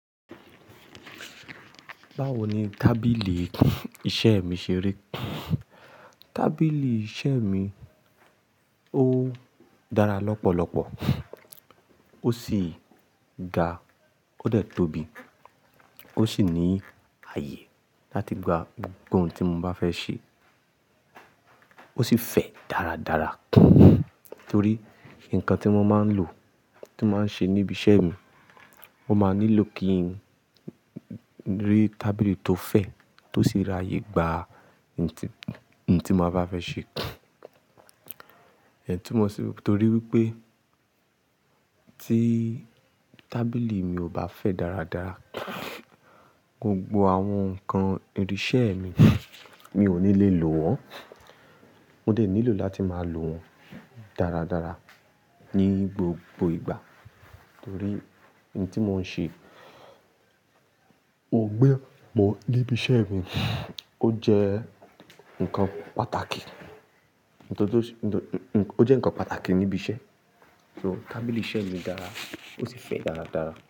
Báwo ni tábìlì iṣẹ́ mi ṣe rí? Tábìlì iṣẹ́ mi ó dára lọ́pọ̀lọpọ̀, ó sì ga, ó de tóbi, ó sì ní ààyè láti gba gbogbo ohun tí mo bá fẹ́ ṣe. Ó sì fẹ̀ dáradára torí nǹkan tí mo máa ń lò, tí mo máa ń ṣe níbi iṣẹ́ mi, mo máa nílò kí ń rí tábìlì tó fẹ̀, tó sì ra ààyè gba ohun tí mo bá fẹ́ ṣe. Iyen tumo sí torí wípé tí tábìlì mi ò bá fẹ̀ dáradára, gbogbo àwọn nǹkan irinṣẹ́ mi, mi ò ní lè lò wọ́n. Mo dẹ̀ nílò láti máa lò wọ́n dáradára ní gbogbo ìgbà torí ohun tí mò ń ṣe ò gbé bọ̀ níbi iṣẹ́ mi, ó jẹ́ nǹkan pàtàkì, ó jẹ́ nǹkan pàtàkì níbi iṣẹ́. So tábìlì iṣẹ́ mi dára, ó sì fẹ̀ dáradára.